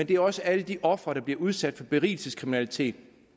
det er også alle de ofre der bliver udsat for berigelseskriminalitet